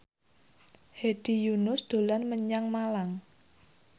Hedi Yunus dolan menyang Malang